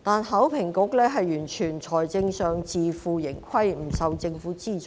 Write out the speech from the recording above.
考評局在財政上完全自負盈虧，不受政府資助。